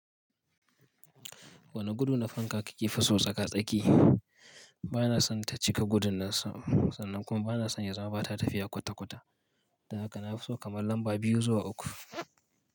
Wane gudu na fanka kake fi so tsaka-tsaki? Bana son ta cika gudun nan, sannan kuma bana son ya zama bata tafiya kwata-kwata. Dan haka nafi so kamar lamba biyu zuwa uku.